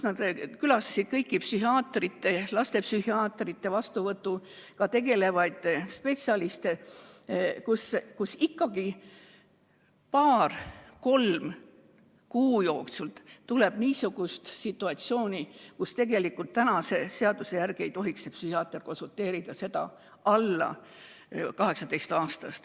Nad külastasid kõiki lastepsühhiaatri vastuvõtuga tegelevaid spetsialiste ja selgus, et paari-kolme kuu jooksul tuleb ette situatsioon, kus alla 18-aastane vajab konsultatsiooni, aga praeguse seaduse järgi ei tohiks psühhiaater talle nõu anda.